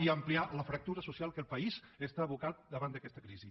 i ampliar la fractura social a què el país està abocat davant d’aquesta crisi